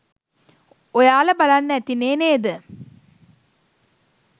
ඔයාලා බලන්න ඇතිනේ නේද?